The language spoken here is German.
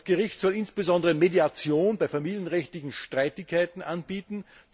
Das Gericht soll insbesondere Mediation bei familienrechtlichen Streitigkeiten anbieten.